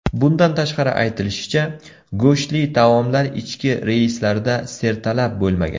Bundan tashqari, aytilishicha, go‘shtli taomlar ichki reyslarda sertalab bo‘lmagan.